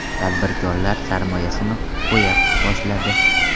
Tadbirkorlar sarmoyasini qo‘ya boshladi.